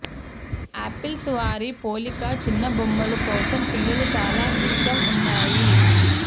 apples వారి పోలిక చిన్న బొమ్మలు కోసం పిల్లలు చాలా ఇష్టం ఉన్నాయి